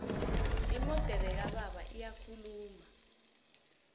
imodere kababa iyakhuluma